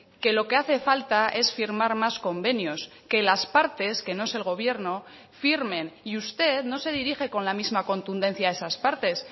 que lo que hace falta es firmar más convenios que las partes que no es el gobierno firmen y usted no se dirige con la misma contundencia a esas partes